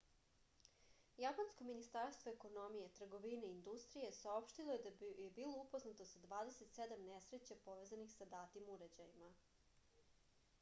japansko ministarstvo ekonomije trgovine i industrije saopštilo je da je bilo upoznato sa 27 nesreća povezanih sa datim uređajima